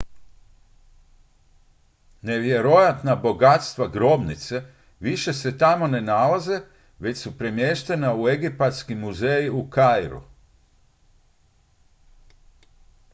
nevjerojatna bogatstva grobnice više se tamo ne nalaze već su premještena u egipatski muzej u kairu